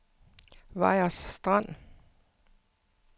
Vejers Strand